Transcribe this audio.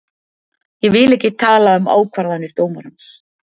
Ég vil ekki tala um ákvarðanir dómarans.